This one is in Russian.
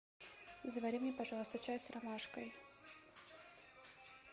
завари мне пожалуйста чай с ромашкой